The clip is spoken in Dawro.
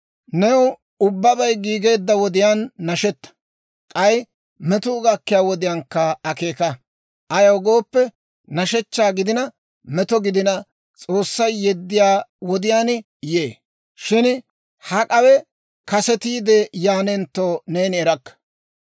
New ubbabay giigeedda wodiyaan nashetta; k'ay metuu gakkiyaa wodiyaankka akeeka; ayaw gooppe, nashshechchaa gidina, meto gidina, S'oossay yeddiyaa wodiyaan yee. Shin hak'awe kasetiide yaanentto, neeni erakka.